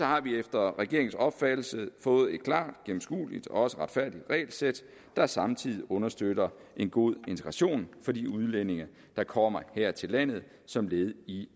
har vi efter regeringens opfattelse fået et klart gennemskueligt og også retfærdigt regelsæt der samtidig understøtter en god integration for de udlændinge der kommer her til landet som led i